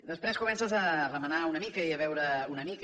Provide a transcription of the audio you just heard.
després comences a remenar una mica i a veure una mica